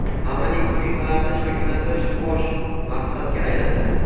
amaliy ko‘nikmalarni shakllantirish bosh maqsadga aylandi.